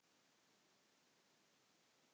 Mér fallast hendur.